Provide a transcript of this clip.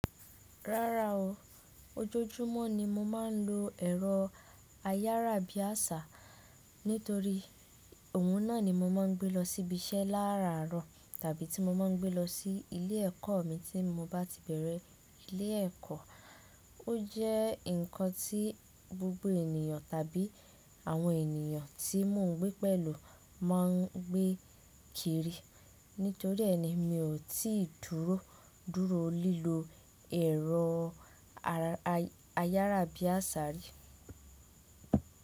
Rárá o, ojoojúmọ́ ni mo máa ń lo ẹ̀rọ ayárábiàsà nítorí ohun náà ni mo máa ń gbé lọ síbi iṣẹ́ láràárọ̀ tàbí tí mo máa ń gbé lọ sí ilé ẹ̀kọ́ mi tí mo bá ti bẹ̀rẹ̀ ilé ẹ̀kọ́. Ó jẹ́ nǹkan tí gbogbo ènìyàn tàbí àwọn ènìyàn tí mò ń gbé pẹ̀lú máa ń gbé kiri. Nítorí ẹni mi ò tíì dúró dúró lílọ ẹ̀rọ ayárábiàsà rí.